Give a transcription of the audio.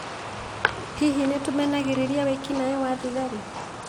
Hihi nĩ nĩtũmenagĩrĩria wĩki-naĩ wa thigari?